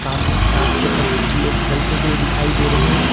सामने रास्ते पर कुछ लोग चलते हुए दिखाई दे रहे हैं।